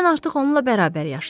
Mən artıq onunla bərabər yaşayıram.